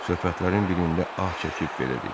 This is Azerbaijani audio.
Söhbətlərin birində ah çəkib belə dedi: